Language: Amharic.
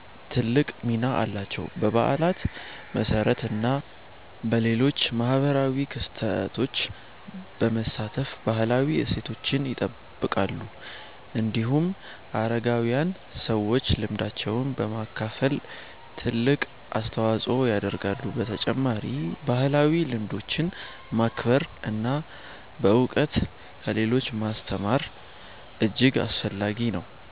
ትልቅ ሚና አላቸው። በበዓላት፣ በሰርግ እና በሌሎች ማህበራዊ ክስተቶች በመሳተፍ ባህላዊ እሴቶችን ይጠብቃሉ። እንዲሁም አረጋዊያን ሰዎች ልምዳቸውን በማካፈል ትልቅ አስተዋጽኦ ያደርጋሉ። በተጨማሪም ባህላዊ ልምዶችን ማክበር እና በእውቀት ለሌሎች ማስተማር እጅግ አስፈላጊ ነው።